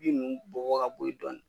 Bin ninnu bɔn bɔn ka bɔ yen dɔɔni